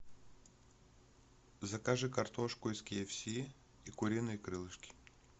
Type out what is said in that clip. закажи картошку из ки эф си и куриные крылышки